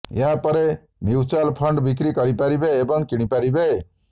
ଏହା ପରେ mutual fund ବିକ୍ରି କରିପାରିବେ ଏବଂ କିଣି ପାରିବେ